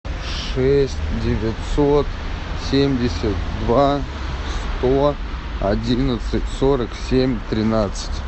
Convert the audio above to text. шесть девятьсот семьдесят два сто одиннадцать сорок семь тринадцать